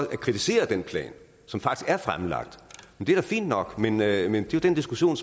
at kritisere den plan som faktisk er fremlagt det er da fint nok men det er jo den diskussion